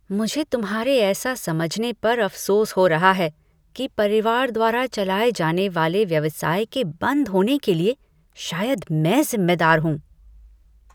मुझे तुम्हारे ऐसा समझने पर अफसोस हो रहा है कि परिवार द्वारा चलाए जाने वाले व्यवसाय के बंद होने के लिए शायद मैं जिम्मेदार हूँ।